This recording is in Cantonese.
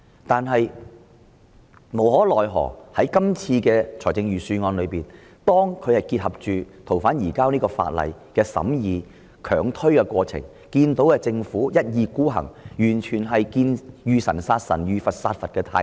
不過，無奈的是，《條例草案》的審議結合他們強推對《條例》的修訂，讓我們看到政府一意孤行、"遇神殺神，遇佛殺佛"的態度。